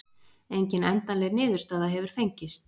Engin endanleg niðurstaða hefur fengist.